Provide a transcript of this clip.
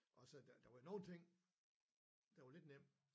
Og så der var nogle ting der var lidt nem